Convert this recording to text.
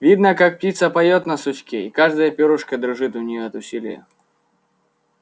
видно как птица поёт на сучке и каждое пёрышко дрожит у нее от усилия